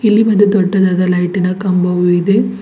ಇಲ್ಲಿ ಒಂದು ದೊಡ್ಡದಾದ ಲೈಟಿನ ಕಂಬವು ಇದೆ.